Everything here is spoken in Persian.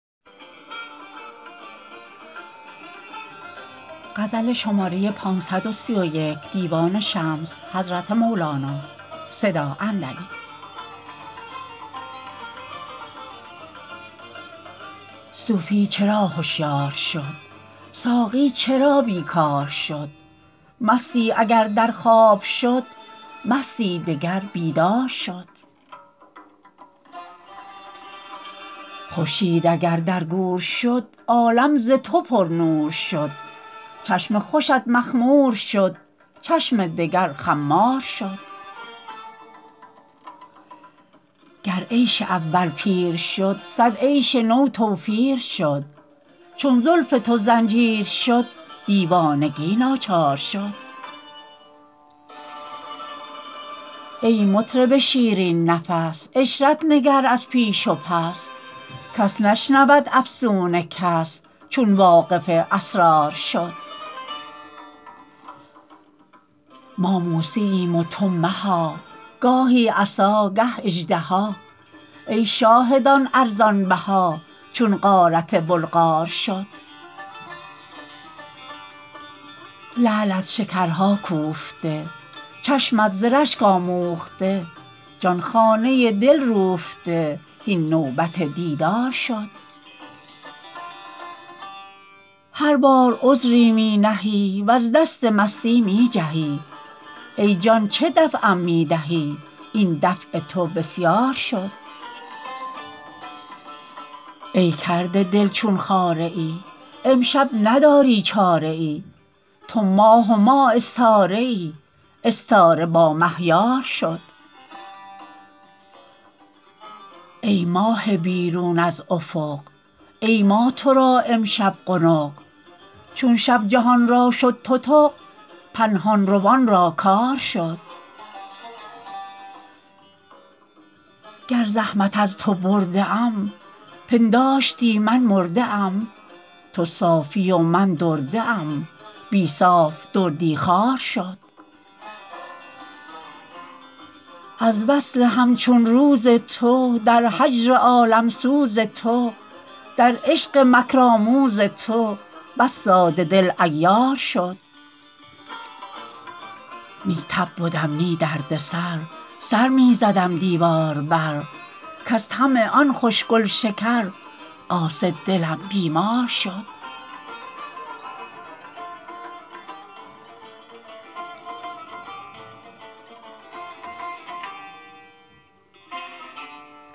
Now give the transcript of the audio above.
صوفی چرا هشیار شد ساقی چرا بیکار شد مستی اگر در خواب شد مستی دگر بیدار شد خورشید اگر در گور شد عالم ز تو پرنور شد چشم خوشت مخمور شد چشم دگر خمار شد گر عیش اول پیر شد صد عیش نو توفیر شد چون زلف تو زنجیر شد دیوانگی ناچار شد ای مطرب شیرین نفس عشرت نگر از پیش و پس کس نشنود افسون کس چون واقف اسرار شد ما موسییم و تو مها گاهی عصا گه اژدها ای شاهدان ارزان بها چون غارت بلغار شد لعلت شکرها کوفته چشمت ز رشک آموخته جان خانه دل روفته هین نوبت دیدار شد هر بار عذری می نهی وز دست مستی می جهی ای جان چه دفعم می دهی این دفع تو بسیار شد ای کرده دل چون خاره ای امشب نداری چاره ای تو ماه و ما استاره ای استاره با مه یار شد ای ماه بیرون از افق ای ما تو را امشب قنق چون شب جهان را شد تتق پنهان روان را کار شد گر زحمت از تو برده ام پنداشتی من مرده ام تو صافی و من درده ام بی صاف دردی خوار شد از وصل همچون روز تو در هجر عالم سوز تو در عشق مکرآموز تو بس ساده دل عیار شد نی تب بدم نی درد سر سر می زدم دیوار بر کز طمع آن خوش گل شکر قاصد دلم بیمار شد